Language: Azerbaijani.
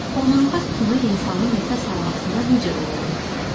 Onurğa sütunu insanın nəfəs almasında necə rol oynayır?